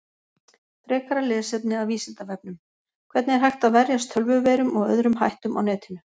Frekara lesefni af Vísindavefnum: Hvernig er hægt að verjast tölvuveirum og öðrum hættum á netinu?